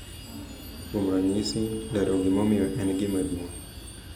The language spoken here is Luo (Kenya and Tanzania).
Kuom ranyisi, lero gimomiyo en gima duong’ .